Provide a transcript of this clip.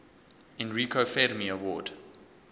enrico fermi award